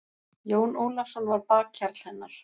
Jón Ólafsson var bakhjarl hennar.